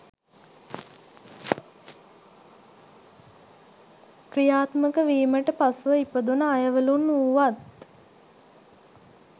ක්‍රියාත්මක වීමට පසුව ඉපදුන අයවලුන් වුවත්